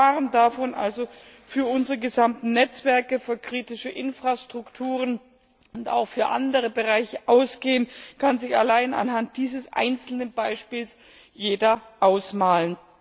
Welche Gefahren für unsere gesamten Netzwerke, für kritische Infrastrukturen und auch für andere Bereiche davon ausgehen, kann sich allein anhand dieses einzelnen Beispiels jeder ausmalen.